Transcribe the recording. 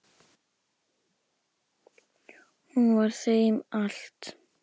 Hún var þeim allt.